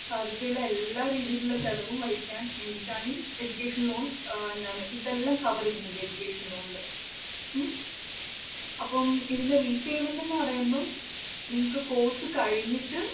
സാധ്യതയുള്ള എല്ലാ രീതിയിലുള്ള ചിലവും വഹിക്കാന്‍ വേണ്ടിയിട്ടാണ് ഈ education loan ഏർ എന്താണ് ഇതെല്ലാം cover ചെയ്യുന്നുണ്ടീ education loan ല്‍ ഉം അപ്പം ഇതിന്റെ repayment എന്ന് പറയുമ്പം നിങ്ങള്‍ക്ക് course കഴിഞ്ഞിട്ട്